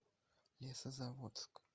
лесозаводск